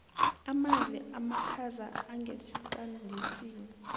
amanzi amakhaza angesiqandisini